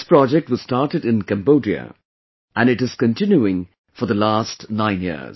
This project was started in Cambodia and it is continuing for the last 9 years